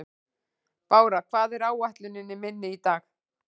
Bára, hvað er á áætluninni minni í dag?